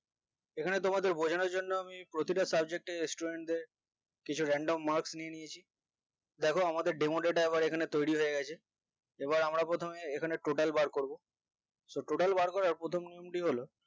এখানে তোমাদের বোঝানোর জন্য আমি প্রতিটা subject এ Student কিছু random marks নিয়ে নিয়েছি দেখো আমাদের এখানে demo data তৈরি হয়ে গেছে এবার আমরা প্রথমে এখানে total বার করবো so total বার করার প্রথম নিয়মটি হলো